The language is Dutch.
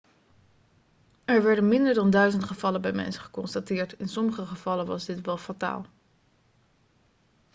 er werden minder dan duizend gevallen bij mensen geconstateerd in sommige gevallen was dit wel fataal